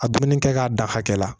A dumuni kɛ k'a da hakɛ la